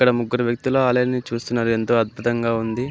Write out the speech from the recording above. ఇద్దరు వ్యక్తులు ఆలయాన్ని చూస్తూ ఉన్నారు ఎంతో అద్భుతంగా ఉంది.